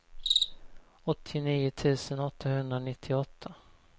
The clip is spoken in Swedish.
åttionio tusen åttahundranittioåtta